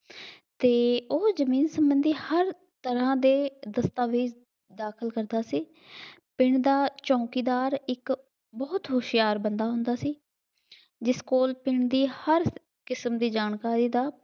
ਅਤੇ ਉਹ ਜ਼ਮੀਨ ਸੰਬੰਧੀ ਹਰ ਤਰ੍ਹਾਂ ਦੇ ਦਸਤਾਵੇਜ਼ ਦਾਖਲ ਕਰਦਾ ਸੀ। ਪਿੰਡ ਦਾ ਚੌਕੀਦਾਰ ਇੱਕ ਬਹੁਤ ਹੁਸ਼ਿਆਰ ਬੰਦਾ ਹੁੰਦਾ ਸੀ। ਜਿਸ ਕੋਲ ਪਿੰਡ ਦੀ ਹਰ ਕਿਸਮ ਦੀ ਜਾਣਕਾਰੀ ਦਾ